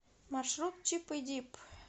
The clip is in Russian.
маршрут чип и дип